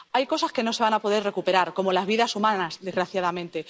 Hay cosas que no se van a poder recuperar, como las vidas humanas, desgraciadamente.